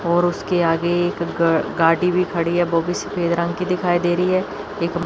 और उसके आगे एक ग गाड़ी भी खड़ी है वो भी सफेद रंग की दिखाई दे रही है एक--